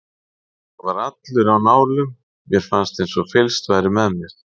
Ég var allur á nálum, mér fannst eins og fylgst væri með mér.